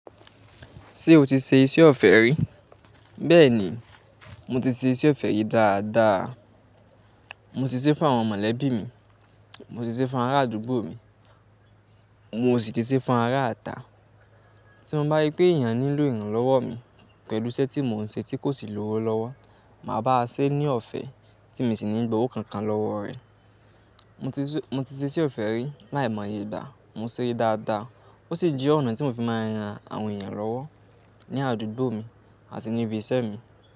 Ṣé o ti ṣe iṣẹ́ ọ̀fẹ́ rí? Bẹ́ẹ̀ni, mo ti ṣe iṣẹ́ ọ̀fẹ́ yìí dáadáa. Mo ti ṣe fún àwọn mọ̀lẹ́bí mi, mo ti ṣe fún àwọn ará àdúgbò mi, mo sì ti ṣe fún ará ata. Tí mo bá rí pé èèyàn nílò ìrànlọ́wọ́ mi pẹ̀lú iṣẹ́ tí mò ń ṣe tí kò sì lówó lọ́wọ́, màá bá a ṣe ní ọ̀fẹ́ tí mo sì ní gbówó kankan lọ́wọ́ rẹ̀. Mo ti ṣe iṣẹ́ ọ̀fẹ́ rí láìmọye ìgbà, mo ṣẹ́ dáadáa. Ó sì jẹ́ ọ̀nà tí mo fi máa ń ran àwọn èèyàn lọ́wọ́ ní àdúgbò mi àti ní ibi iṣẹ́ mi.